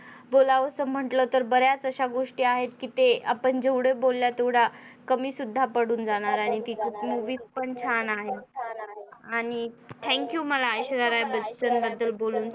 बोलावंसं म्हटलं तर बऱ्याच अशा गोष्टी आहेत कि ते आपण जेवढ बोलल्या त्या तेवढ्या कमी सुद्धा पडुन जाणार आणि ती पण छान आहे आणि thank you मला ऐश्वर्या राय बच्चन बद्दल बोलून